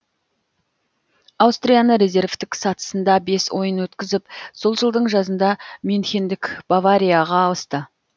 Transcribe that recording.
аустрияны резервтік сатысында бес ойын өткізіп сол жылдың жазында мюнхендік баварияға ауысты